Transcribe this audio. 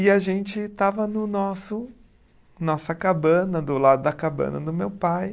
E a gente estava no nosso, nossa cabana, do lado da cabana do meu pai.